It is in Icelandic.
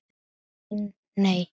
En, nei.